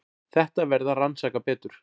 Þetta verði að rannsaka betur.